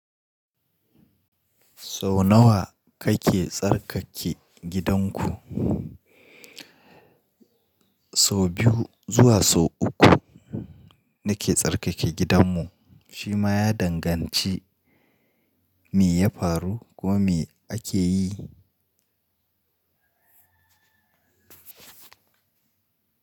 So nawa kake tsarkake gidanku? So biyu zuwa so uku nake tsarkake gidanmu shima ya danganci me ya faru ko me ake yi.